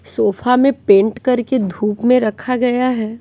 Sofa में paint करके धूप में रखा गया है।